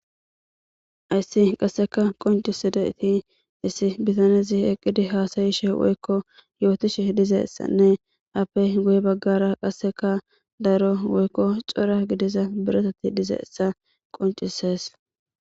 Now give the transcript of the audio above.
Ayssi qasseka qoncisi da7ti issi bitanezi eqqidi haasayishe woykko yootishe dizeessanne appe guye baggara qasseka daro woykko cora gidiza biretati dizeessa qoncises.